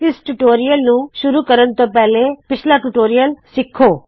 ਇਸ ਟਯੂਟੋਰਿਯਲ ਨੂੰ ਸ਼ੁਰੂ ਕਰਨ ਤੋ ਪਹਲੇ ਪਿੱਛਲਾ ਟਯੂਟੋਰਿਯਲ ਸਿੱਖੋ